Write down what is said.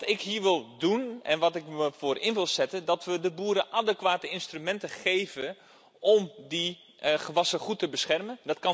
Wat ik hier wil doen, en waar ik me voor in wil zetten, is de boeren adequate instrumenten geven om die gewassen goed te beschermen.